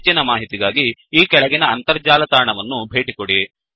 ಹೆಚ್ಚಿನ ಮಾಹಿತಿಗಾಗಿ ಈ ಕೆಳಗಿನ ಅಂತರ್ಜಾಲ ತಾಣವನ್ನು ಭೇಟಿಕೊಡಿ